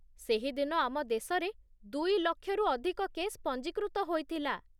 ସେହି ଦିନ ଆମ ଦେଶରେ ଦୁଇ ଲକ୍ଷରୁ ଅଧିକ କେସ୍ ପଞ୍ଜୀକୃତ ହୋଇଥିଲା